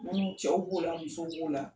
Minnu cɛw b'o la, muso b'o la.